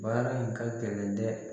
Baara in ka gɛlɛn dɛ